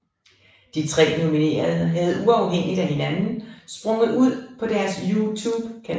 De tre nominerede havde uafhængigt af hinanden sprunget ud på deres YouTube kanal